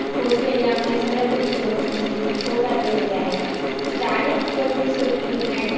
phone pay ने आपल्या सगळ्या गोष्टी म्हणजे सोप्या केलेल्या आहेत. अशा अनेक कोणते social media आहेत